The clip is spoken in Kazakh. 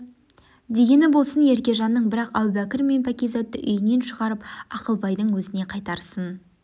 дегені болсын еркежанның бірақ әу бәкір мен пәкизатты үйінен шығарып ақылбайдың өзіне қайтарсын